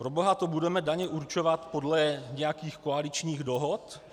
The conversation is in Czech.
Proboha, to budeme daně určovat podle nějakých koaličních dohod?